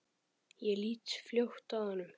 Ég lít fljótt af honum.